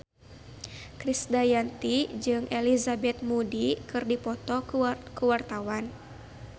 Krisdayanti jeung Elizabeth Moody keur dipoto ku wartawan